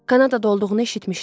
Kanadada olduğunu eşitmişdim.